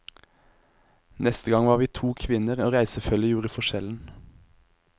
Neste gang var vi to kvinner, og reisefølget gjorde forskjellen.